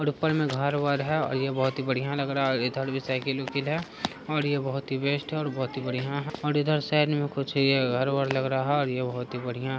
और ऊपर में घर-वर है और ये बहुत ही बढ़ियां लग रहा है और इधर भी साइकिल उकील है और ये बहुत ही बेस्ट है और बहुत ही बढ़ियां है और इधर साइड में कुछ घर-वर लग रहा है और ये बहुत ही बढ़ियां--